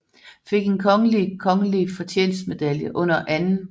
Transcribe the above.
Fik en kongelig kongelig fortjenstmedalje under 2